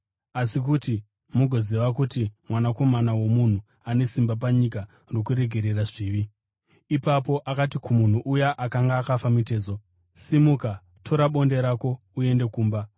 Asi kuti mugoziva kuti Mwanakomana woMunhu ane simba panyika rokuregerera zvivi.” Ipapo akati kumunhu uya akanga akafa mitezo, “Simuka, tora bonde rako uende kumba.”